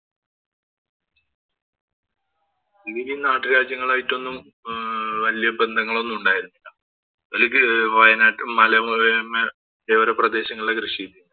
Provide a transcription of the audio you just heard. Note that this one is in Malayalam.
ഇവരീ ഈ നാട്ടുരാജ്യങ്ങളായിട്ടൊന്നും വല്യ ബന്ധങ്ങളൊന്നും ഉണ്ടായിരുന്നില്ല. അവര്ക്ക് വയനാട്ടി മലയോര പ്രദേശങ്ങളിലാ കൃഷി.